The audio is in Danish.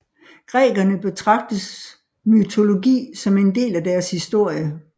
Grækerne betragtes mytologi som en del af deres historie